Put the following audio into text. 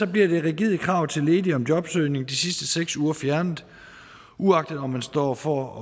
bliver det rigide krav til ledige om jobsøgning de sidste seks uger fjernet uagtet om man står over for at